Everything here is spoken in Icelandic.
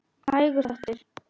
Hægur þáttur